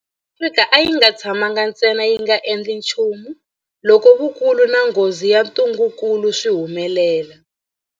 Afrika a yi nga tshamangi ntsena yi nga endli nchumu loko vukulu na nghozi ya ntungukulu swi humelela.